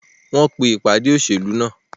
Wọ́n pẹ́ dẹ́ ìpàdé òṣèlú náà.